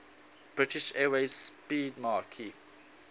british airways 'speedmarque